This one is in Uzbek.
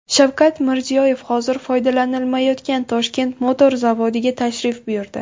Shavkat Mirziyoyev hozir foydalanilmayotgan Toshkent motor zavodiga tashrif buyurdi.